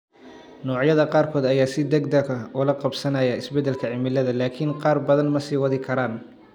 Noocyada qaarkood ayaa si degdeg ah ula qabsanaya isbeddelka cimilada, laakiin qaar badan ma sii wadi karaan.